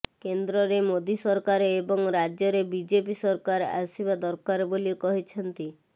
କେନ୍ଦ୍ରରେ ମୋଦୀ ସରକାର ଏବଂ ରାଜ୍ୟରେ ବିଜେପି ସରକାର ଆସିବା ଦରକାର ବୋଲି କହିଛନ୍ତି